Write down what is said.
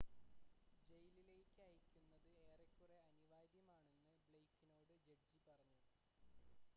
"ജയിലിലേക്ക് അയയ്ക്കുന്നത് "ഏറെക്കുറെ അനിവാര്യമാണെന്ന്" ബ്ലെയ്ക്കിനോട് ജഡ്ജി പറഞ്ഞു.